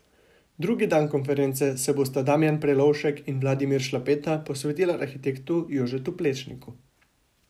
Drugi dan konference se bosta Damjan Prelovšek in Vladimir Šlapeta posvetila arhitektu Jožetu Plečniku.